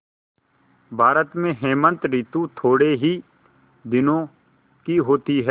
भारत में हेमंत ॠतु थोड़े ही दिनों की होती है